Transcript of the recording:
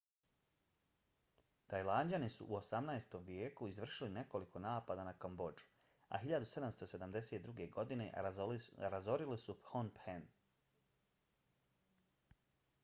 tajlanđani su u 18. vijeku izvršili nekoliko napada na kambodžu a 1772. godine razorili su pnom phen